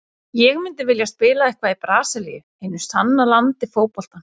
Ég myndi vilja spila eitthvað í Brasilíu, hinu sanna landi fótboltans.